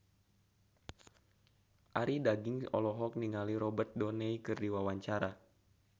Arie Daginks olohok ningali Robert Downey keur diwawancara